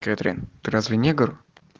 кэтрин ты разве негр